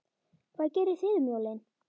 Hvað gerið þið um jólin?